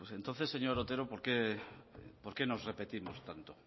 entonces señor otero por qué nos repetimos tanto